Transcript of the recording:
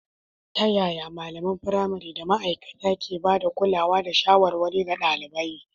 Ta yaya malaman firamare da ma’aikata ke ba da kulawa da shawarwari ga ɗalibai?